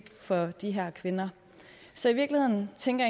for de her kvinder så i virkeligheden tænker